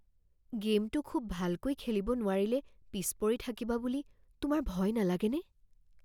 গে'মটো খুব ভালকৈ খেলিব নোৱাৰিলে পিছ পৰি থাকিবা বুলি তোমাৰ ভয় নালাগেনে?